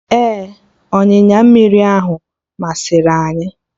Ee, ọnyịnya mmiri ahụ masịrị anyị